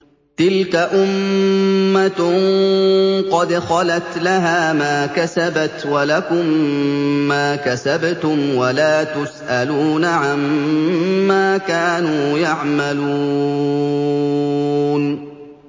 تِلْكَ أُمَّةٌ قَدْ خَلَتْ ۖ لَهَا مَا كَسَبَتْ وَلَكُم مَّا كَسَبْتُمْ ۖ وَلَا تُسْأَلُونَ عَمَّا كَانُوا يَعْمَلُونَ